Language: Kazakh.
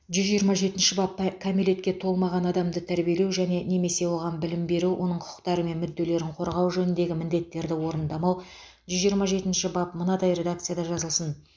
жүз жиырма жетінші бап кәмелетке толмаған адамды тәрбиелеу және немесе оған білім беру оның құқықтары мен мүдделерін қорғау жөніндегі міндеттерді орындамау жүз жиырма жетінші бап мынадай редакцияда жазылсын